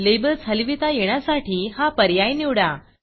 labels हलविता येण्यासाठी हा पर्याय निवडा